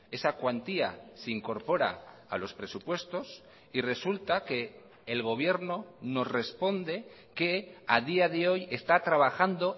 esa cuantía se incorpora a los presupuestos y resulta que el gobierno nos responde que a día de hoy está trabajando